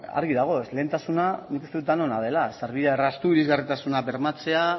argi dago excelentasuna nik uste dut denona dela sarbidea erraztu irisgarritasuna bermatzea